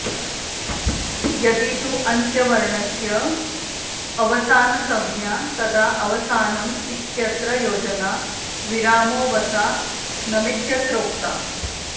यदि तु अन्त्यवर्णस्य अवसानसंज्ञा तदा अवसानं इत्यत्र योजना विरामोऽवसानमित्यत्रोक्ता